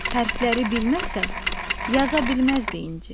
Hərfləri bilməsə, yaza bilməzdi inci.